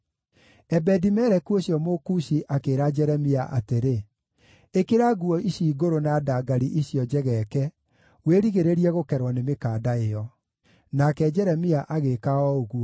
Ebedi-Meleku ũcio Mũkushi, akĩĩra Jeremia atĩrĩ: “Ĩkĩra nguo icio ngũrũ na ndangari icio njegeeke, wĩrigĩrĩrie gũkerwo nĩ mĩkanda ĩyo.” Nake Jeremia agĩĩka o ũguo,